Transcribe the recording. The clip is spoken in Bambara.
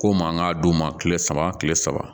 Ko man ka d'u ma kile saba kile saba